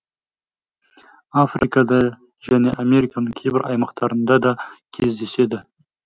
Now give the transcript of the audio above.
африкада және американың кейбір аймақтарында да кездеседі